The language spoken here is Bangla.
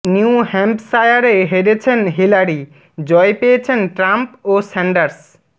নিউ হ্যাম্পশায়ারে হেরেছেন হিলারি জয় পেয়েছেন ট্রাম্প ও স্যান্ডার্স